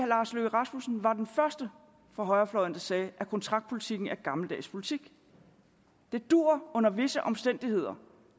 lars løkke rasmussen var den første fra højrefløjen der sagde at kontraktpolitikken er gammeldags politik det duer under visse omstændigheder